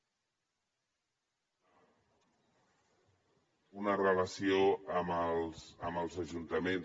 una relació amb els ajuntaments